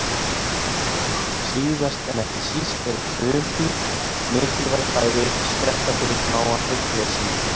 Síðast en ekki síst eru frumdýr mikilvæg fæðuuppspretta fyrir smáa hryggleysingja.